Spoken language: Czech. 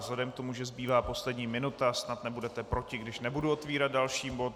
Vzhledem k tomu, že zbývá poslední minuta, snad nebudete proti, když nebudu otvírat další bod.